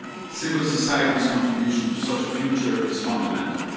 Civil society's contribution to such a future is fundamental.